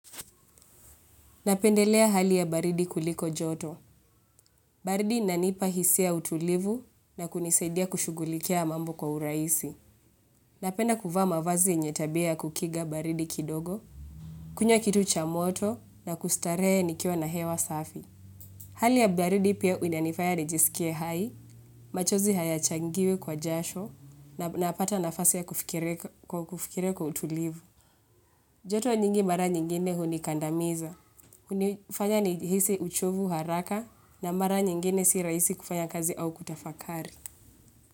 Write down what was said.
Napendelea hali ya baridi kuliko joto. Baridi inanipa hisia ya utulivu na kunisedia kushugulikia mambo kwa uraisi. Napenda kufa mavazi yenye tabia kukiga baridi kidogo. Kunywa kitu cha moto na kustaree nikiwa na hewa safi. Hali ya baridi pia unanifaya nijisikie hai. Machozi hayachangiwi kwa jasho na napata nafasi ya kufikiria kwa utulivu. Joto nyingi mara nyingine hunikandamiza. Unifanya ni hisi uchovu haraka na mara nyingine siraisi kufanya kazi au kutafakari.